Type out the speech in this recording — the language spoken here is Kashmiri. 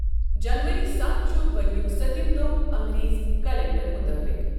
جَنؤری ستھ چھُ ؤریک سٔتِم دۄہ اَنگریزی کیلنڈَر مُطٲبِق۔